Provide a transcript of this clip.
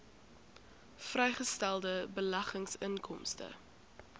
vrygestelde beleggingsinkomste